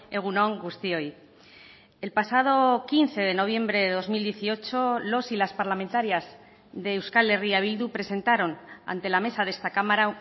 egun on guztioi el pasado quince de noviembre de dos mil dieciocho los y las parlamentarias de euskal herria bildu presentaron ante la mesa de esta cámara